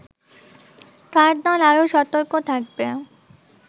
তার দল আরো সতর্ক থাকবে